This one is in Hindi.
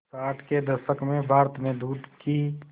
साठ के दशक में भारत में दूध की